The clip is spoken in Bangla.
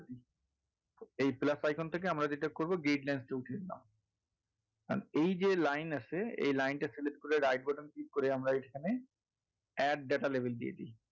এই plus icon থেকে আমরা যেটা করবো lines টা উঠিয়ে দিলাম কারন এই যে line আছে এই line টা select করে right button click করে আমরা এখানে add data label দিয়ে দেই।